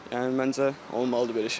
Yəni məncə olmalıdır belə şey.